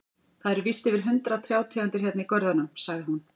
Það eru víst yfir hundrað trjátegundir hérna í görðunum, sagði hún.